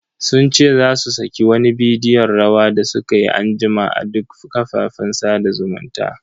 Sun ce za su saki wani bidiyon rawa da sukayi anjima a duk kafafen sada zumuntan.